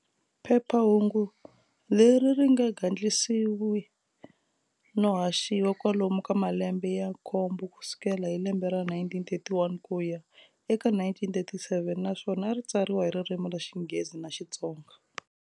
Phephahungu leri ri gandlisiwe no haxiva kwalomu ka malembe ya nkombo kusukela hi lembe ra 1931 kuya eka 1937, naswona ari tsariwa hi ririmi ra Xinghezi na Xitsonga.